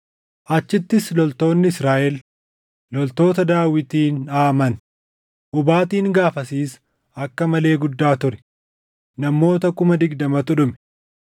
Achittis loltoonni Israaʼel loltoota Daawitiin dhaʼaman; hubaatiin gaafasiis akka malee guddaa ture; namoota kuma digdamatu dhume.